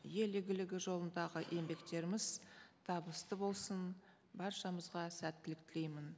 ел игілігі жолындағы еңбектеріміз табысты болсын баршамызға сәттілік тілеймін